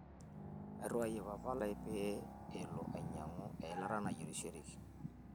airiwayie papa lai pee alo ainyiang'u eilata naiyierishoreki